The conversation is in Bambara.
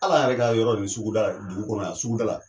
Al'an yɛrɛ ka yɔrɔ ni suguda la dugu kɔnɔ yan suguda la.